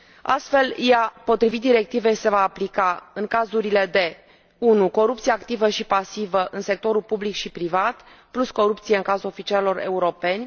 Astfel, ea, potrivit directivei, se va aplica în cazurile de 1 corupție activă și pasivă în sectorul public și privat, plus corupție în cazul oficialilor europeni